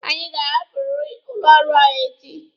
Anyị ga-ahapụriri ụlọ ọrụ ahụ echi!